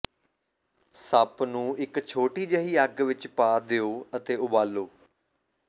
soup ਨੂੰ ਇਕ ਛੋਟੀ ਜਿਹੀ ਅੱਗ ਵਿਚ ਪਾ ਦਿਓ ਅਤੇ ਉਬਾਲੋ